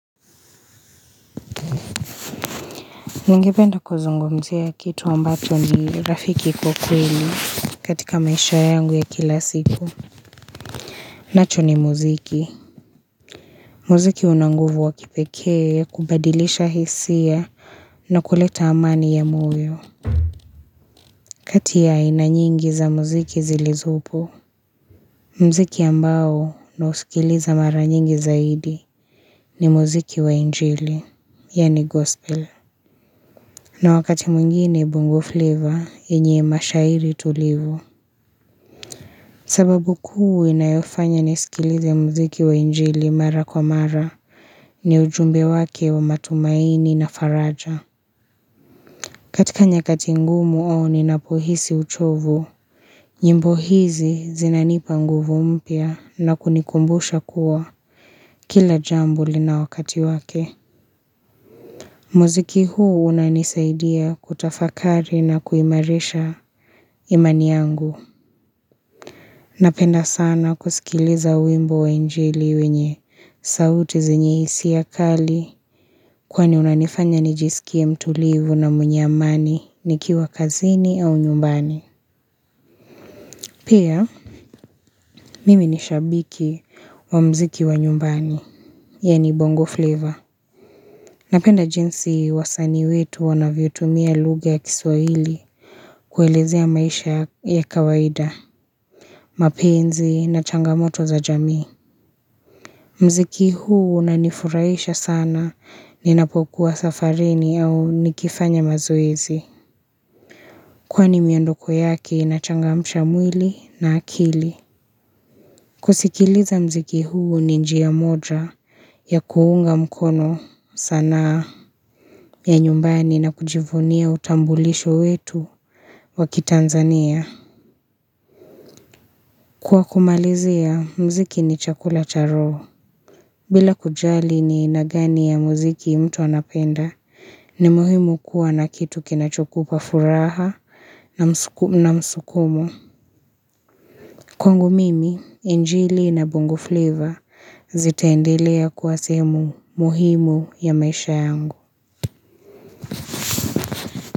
Ningependa kuzungumzia kitu ambacho ni Rafiki kwa kweli katika maisha yangu ya kila siku. Nacho ni muziki. Mziki una nguvu wa kipekee kubadilisha hisia na kuleta amani ya moyo. Kati ya aina nyingi za muziki zilizopo. Mziki ambao nausikiliza mara nyingi zaidi ni muziki wa injili, yaani gospel. Na wakati mwingine bongo flavor yenye mashahiri tulivu. Sababu kuu inayofanya nisikilize mziki wa injili mara kwa mara ni ujumbe wake wa matumaini na faraja. Katika nyakati ngumu ninapohisi uchovu, nyimbo hizi zinanipa nguvu mpya na kunikumbusha kuwa kila jambo lina wakati wake. Mziki huu unanisaidia kutafakari na kuimarisha imani yangu. Napenda sana kusikiliza wimbo wa injili wenye sauti zenye hisia kali kwani unanifanya nijisikie mtulivu na mwenye amani nikiwa kazini au nyumbani. Pia, mimi ni shabiki wa mziki wa nyumbani, yaani bongo flavor. Napenda jinsi wasanii wetu wanavyotumia lugja ya kiswahili kuelezea maisha ya kawaida, mapenzi na changamoto za jamii. Mziki huu unanifurahisha sana ninapokuwa safarini au nikifanya mazoezi. Kwani miondoko yake inachangamsha mwili na akili. Kusikiliza mziki huu ni njia moja ya kuunga mkono sanaa ya nyumbani na kujivunia utambulisho wetu wa kitanzania. Kwa kumalizia, mziki ni chakula cha roho. Bila kujali ni aina gani ya muziki mtu anapenda, ni muhimu kuwa na kitu kinachokupa furaha na msukumo. Kwangu mimi, injili na bongo flavor zitaendelea kuwa sehemu muhimu ya maisha yangu.